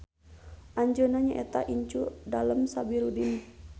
Anjeuna nyaeta incu Dalem Sabirudin.